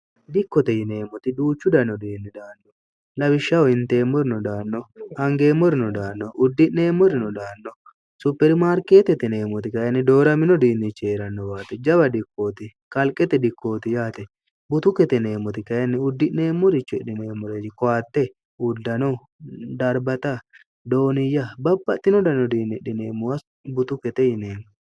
dikkote yineemmoti duuchu dano diinni daanno labishshaho hinteemmorino daanno angeemmorino daanno uddi'neemmorino daanno supirimaarkeete tineemmoti kayinni dooramino diinnich heerannowaate jaba dikkooti kalqete dikkooti yaate butu keteneemmoti kayini uddi'neemmorichedhimeemmoreej kowatte uddano darbata dooniyya bapaxtino dano diinni dhineemmowa butu kete yineemmo